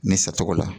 Ni satogo la